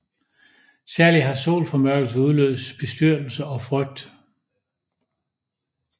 Særligt har solformørkelser udløst bestyrtelse og frygt